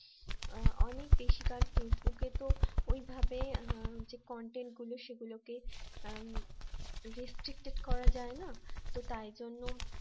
অনেক বেশি কার ফেইসবুক এ তো ওইভাবে যে content গুলো সেগুলোকে restricted করা যায় না তো তাই জন্য